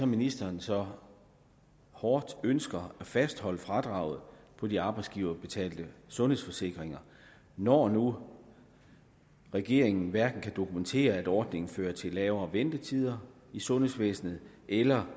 ministeren så hårdt ønsker at fastholde fradraget for de arbejdsgiverbetalte sundhedsforsikringer når nu regeringen hverken kan dokumentere at ordningen fører til lavere ventetider i sundhedsvæsenet eller